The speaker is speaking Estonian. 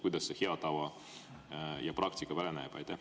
Kuidas see hea tava ja praktika välja näeb?